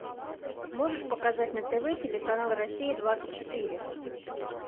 можешь показать на тв телеканал россия двадцать четыре